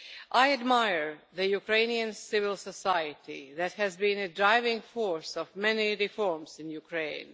I admire the Ukrainian civil society that has been the driving force behind many reforms in Ukraine.